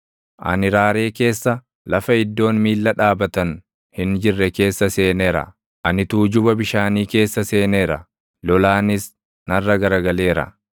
Ani raaree keessa, lafa iddoon miilla dhaabatan hin jirre keessa seeneera. Ani tuujuba bishaanii keessa seeneera; lolaanis narra garagaleera.